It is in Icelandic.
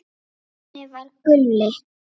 Þannig var Gulli.